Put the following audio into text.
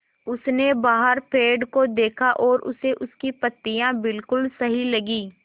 उसने बाहर पेड़ को देखा और उसे उसकी पत्तियाँ बिलकुल सही लगीं